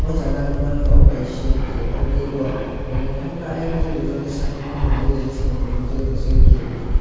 oh jaga ang nukmankha obo kaisa gate o gate o naithok naithok khe ayang gate rijak satung tungmani bagui shampili nukjagui tongo gate ni.